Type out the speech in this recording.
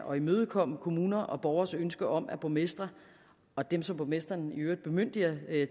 og imødekomme kommuners og borgeres ønske om at borgmestre og dem som borgmestrene i øvrigt bemyndiger